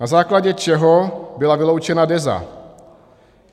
Na základě čeho byla vyloučena Deza?